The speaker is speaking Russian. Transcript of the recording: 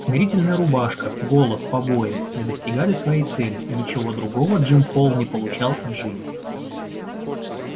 смирительная рубашка голод побои не достигали своей цели и ничего другого джим холл не получал от жизни